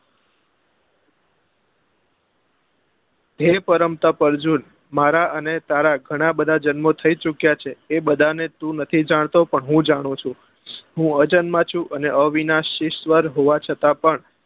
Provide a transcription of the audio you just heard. હે પરમ તપ અર્જુન મારા અને તારા ગણા બધા જન્મો થઇ ચુક્યા છે એ બધા ને તું નથી જાણતો પણ હું જાણું છું હું વચન માં છું અને અવિનાશી સ્વર હોવા છતાં પણ